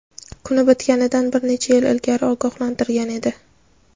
kuni bitganidan bir necha yil ilgari ogohlantirgan edi.